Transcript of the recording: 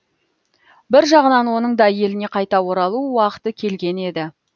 бір жағынан оның да еліне қайта оралу уақыты келген еді